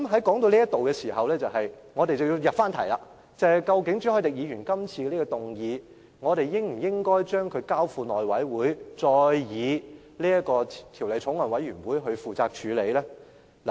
談到這部分，我們也應該入題，就是朱凱廸議員今次提出的議案，即我們應否將《條例草案》交付內務委員會以法案委員會來處理。